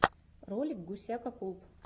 ролик гусяка клуб